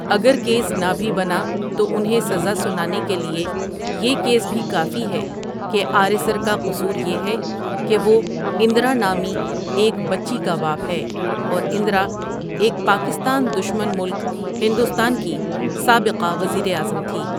اگر کیس نہ بھی بنا تو انھیں سزا سنانے کے لٸے یہ کیس بھی کافی ھے کہ آریسر کا قصور یہ ھے کہ وہ اندرا نامی ایک بچی کا باپ ھے اور اندرا ایک پاکستان دشمن ملک ھندوستان کی سابقہ وزیراعظم تھی۔